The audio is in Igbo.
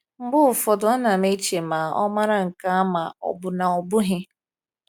Mgbe ụfọdụ, ana m eche ma ọ mara nke a ma ọ bụ na ọ bụghị?